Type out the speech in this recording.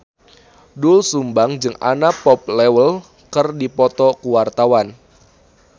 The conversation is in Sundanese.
Doel Sumbang jeung Anna Popplewell keur dipoto ku wartawan